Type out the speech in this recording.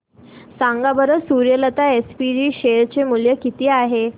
सांगा बरं Suryalata SPG share चे मूल्य किती आहे